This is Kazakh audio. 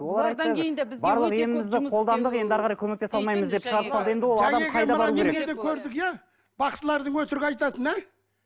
көрдік иә бақсылардың өтірік айтатынын ә